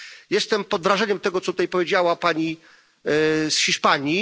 Jestem pod wrażeniem tego, co tutaj powiedziała pani z Hiszpanii.